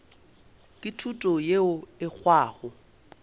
ke thuto yeo e hwago